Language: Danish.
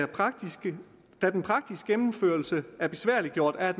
praktiske gennemførelse er besværliggjort af